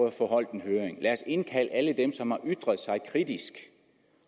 at få holdt en høring lad os indkalde alle dem som har ytret sig kritisk